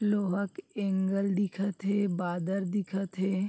लोहा क एंगल दिखत हे बादल दिखत हे।